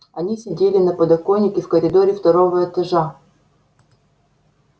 они сидели на подоконнике в коридоре второго этажа